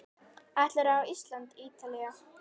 Ætlarðu á Ísland- Ítalía?